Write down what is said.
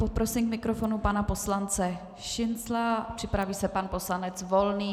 Poprosím k mikrofonu pana poslance Šincla, připraví se pan poslanec Volný.